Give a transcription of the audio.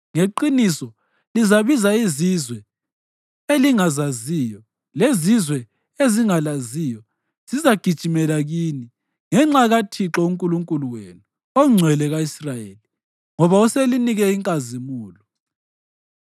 Ngeqiniso lizabiza izizwe elingazaziyo, lezizwe ezingalaziyo zizagijimela kini, ngenxa kaThixo uNkulunkulu wenu, oNgcwele ka-Israyeli, ngoba uselinike inkazimulo.”